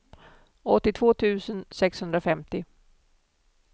åttiotvå tusen sexhundrafemtio